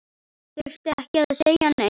Þurfti ekki að segja neitt.